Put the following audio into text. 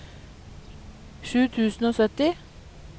sju tusen og sytti